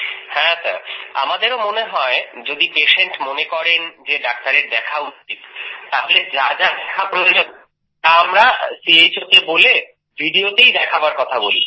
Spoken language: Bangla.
হ্যাঁ আমাদেরও মনে হয় যদি পেশেন্ট মনে করেন যে ডাক্তারের দেখা উচিত তাহলে যা যা দেখা প্রয়োজন তা আমরা CHOকে বলে videoতেই দেখাবার কথা বলি